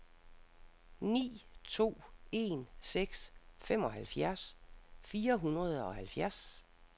ni to en seks femoghalvfjerds fire hundrede og halvfjerds